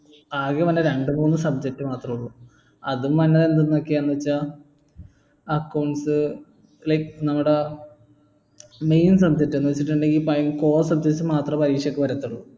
ആകെ പറഞ്ഞ രണ്ടുമൂന്നു subject മാത്രമേ ഉള്ളൂ അതും അന്നേരം എന്തെന്നൊക്കെ വെച്ചാ accounts like നമ്മുടെ main subject എന്ന് വെച്ചിട്ടിണ്ടേൽ core subjects മാത്രെ പരീക്ഷക്ക് വരത്തുള്ളൂ